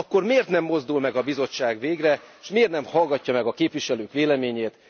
Akkor miért nem mozdul meg a Bizottság végre, és miért nem hallgatja meg a képviselők véleményét?